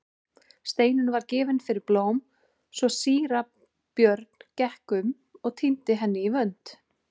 Steinunn var gefin fyrir blóm svo síra Björn gekk um og tíndi henni í vönd.